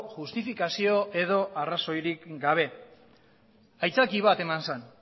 justifikazio edo arrazoirik gabe aitzaki bat eman zen